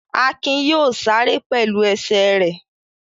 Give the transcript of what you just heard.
Akin yóò sáré pẹ̀lú ẹsẹ̀ rẹ̀.